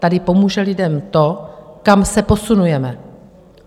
Tady pomůže lidem to, kam se posunujeme.